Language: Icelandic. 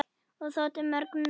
Og þótti mörgum nóg.